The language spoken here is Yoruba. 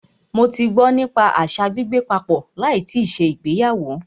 Mó tí gbọ́ nípa àṣa gbígbé papọ̀ láì tíì ṣe ìgbéyàwó.